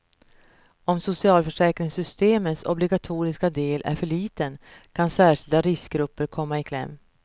Om socialförsäkringssystemets obligatoriska del är för liten, kan särskilda riskgrupper komma i kläm.